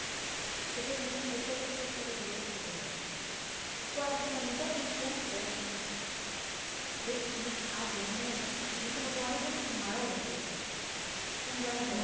তাদের মনে suicide প্রতি একটা ইয়ে হয়ে আছে কয়েকদিন মানে ইদানিং কমসে মানে বেশ খানেক আগে অনেক রীতিমতো অনেক জন কিন্তু মারা গেছিল মানে দেখা যায়